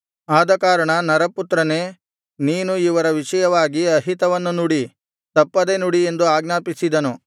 ಆದಕಾರಣ ನರಪುತ್ರನೇ ನೀನು ಇವರ ವಿಷಯವಾಗಿ ಅಹಿತವನ್ನು ನುಡಿ ತಪ್ಪದೆ ನುಡಿ ಎಂದು ಆಜ್ಞಾಪಿಸಿದನು